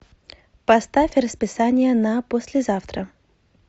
поставь расписание на послезавтра